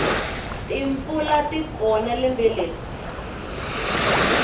timpfula tikona lembe leri